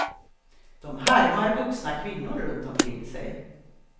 De härmar vuxna kvinnor runt omkring sig.